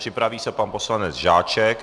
Připraví se pan poslanec Žáček.